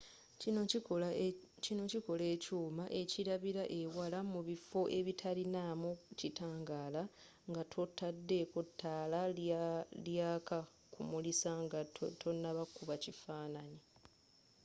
kino kikola ekyuma ekilabila ewala mu bifo ebitalinamu kitangala nga totadeko taala lyaka kumulisa nga tonakuba kifananyi